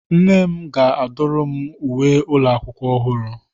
Nne m ga-adụrụ m uwe ụlọ akwụkwọ ọhụrụ.